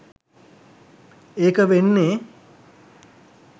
ඒක වෙන්නේ